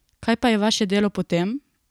Kaj pa je vaše delo potem?